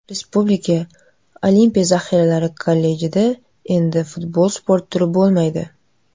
Respublika Olimpiya zaxiralari kollejlarida endi futbol sport turi bo‘lmaydi.